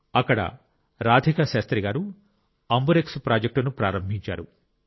అక్కడ రాధికా శాస్త్రి గారు అంబురెక్స్ ప్రాజెక్టును ప్రారంభించారు